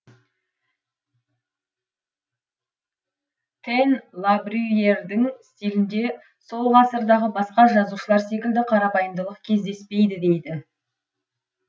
тэн лабрюйердің стилінде сол ғасырдағы басқа жазушылар секілді қарапайымдылық кездеспейді дейді